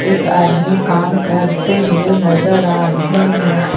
कुछ आदमी काम करते हुए नजर आ रहे है।